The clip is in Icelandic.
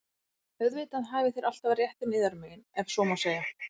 Auðvitað hafið þér alltaf réttinn yðar megin,- ef svo má segja.